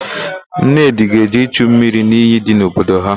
Nnedị ga-eje ichu mmiri n'iyi dị n'obodo ha.